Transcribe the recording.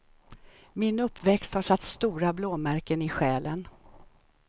Min uppväxt har satt stora blåmärken i själen.